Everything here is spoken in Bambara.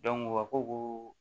u ka ko ko